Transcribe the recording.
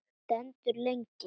Stendur lengi.